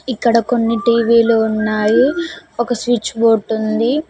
ఇక్కడ కొన్ని టీ_వీ లు ఉన్నాయి ఒక స్విచ్ బోర్డ్ ఉంది.